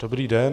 Dobrý den.